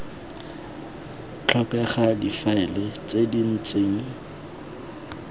tlhokega difaele tse di ntseng